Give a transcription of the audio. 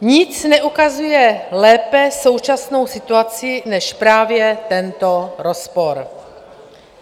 Nic neukazuje lépe současnou situaci než právě tento rozpor.